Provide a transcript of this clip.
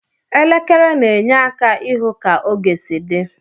Elekere na enye aka ihụ ka oge si di.